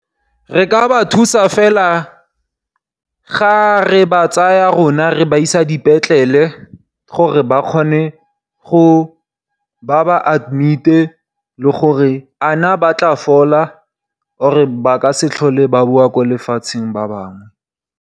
Re ka ba thusa fela ga re ba tsaya rona re ba isa dipetlele gore ba kgone gore ba ba admite, le gore a na ba tla fola or ba ka se tlhole ba boa mo lefatsheng ba bangwe.